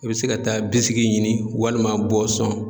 I bɛ se ka taa bisiki ɲini walima bɔsɔn.